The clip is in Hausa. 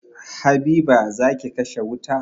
Habiba, za ki kashe wuta